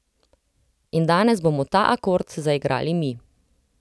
In danes bomo ta akord zaigrali mi.